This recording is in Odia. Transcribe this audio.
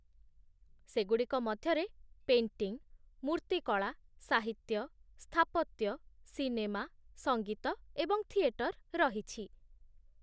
ସେଗୁଡ଼ିକ ମଧ୍ୟରେ ପେଣ୍ଟିଂ, ମୂର୍ତ୍ତିକଳା, ସାହିତ୍ୟ, ସ୍ଥାପତ୍ୟ, ସିନେମା, ସଙ୍ଗୀତ ଏବଂ ଥିଏଟର ରହିଛି